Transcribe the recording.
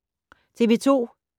TV 2